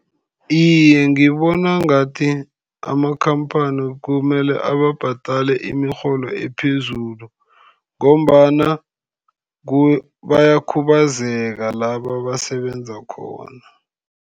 Iye, ngibona ngathi amakhamphani kumele ababhadale imirholo ephezulu, ngombana bayakhubazeka laba abasebenza khona.